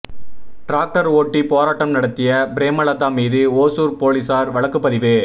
tractor ஓட்டி போராட்டம் நடத்திய பிரேமலதா மீது ஓசூர் போலீசார் வழக்குப்பதிவு